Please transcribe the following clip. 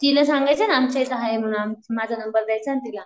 तिला सांगायचं ना आमच्या इथं आहे म्हणून माझा नंबर द्यायचा ना तिला.